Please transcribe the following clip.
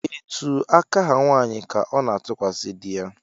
Etu aka ha nwanyị ka ọ na-atụkwasị di ya